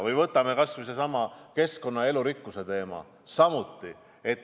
Või võtame kas või sellesama keskkonna ja elurikkuse teema.